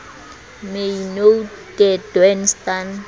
my nou te doen staan